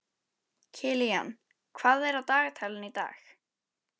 Kilían, hvað er á dagatalinu í dag?